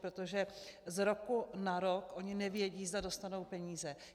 Protože z roku na rok oni nevědí, zda dostanou peníze.